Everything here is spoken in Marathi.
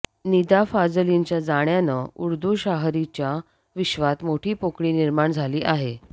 निदा फाजलींच्या जाण्यानं उर्दू शाहरीच्या विश्वात मोठी पोकळी निर्माण झाली आहे